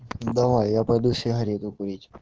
давай я пойду сигарету курить